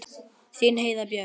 Þín Heiða Björg.